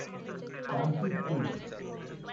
सांची स्तूप